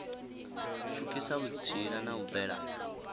pfukisa vhutsila na u bvela